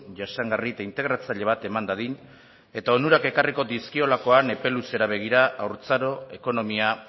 jasangarri eta integratzaile bat eman dadin eta onurak ekarriko dizkiolakoan epe luzera begira haurtzaro ekonomia